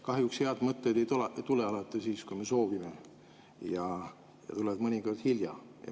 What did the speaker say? Kahjuks head mõtted ei tule alati siis, kui me soovime, ja tulevad mõnikord hilja.